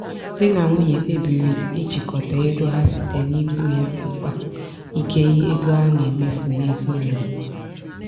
di na nwunye kpebiri ijikọta ego ha site n'ịkpọ ya mkpa ike ego a na-emefu n'ezinụlọ.